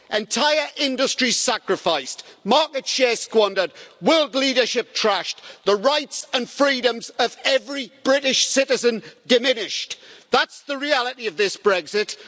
Entire industries sacrificed, market shares squandered, world leadership trashed, the rights and freedoms of every British citizen diminished that's the reality of this Brexit.